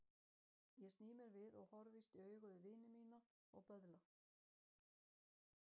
Ég sný mér við og horfist í augu við vini mína og böðla.